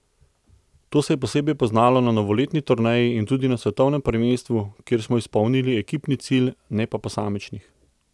To se je posebej poznalo na novoletni turneji in tudi na svetovnem prvenstvu, kjer smo izpolnili ekipni cilj, ne pa posamičnih.